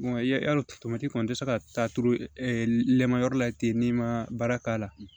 tomati kɔni i tɛ se ka taa turu lamayɔrɔ la ten n'i ma baara k'a la